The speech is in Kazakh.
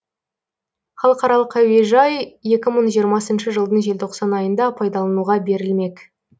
халықаралық әуежай екі мың жиырмасыншы жылдың желтоқсан айында пайдалануға берілмек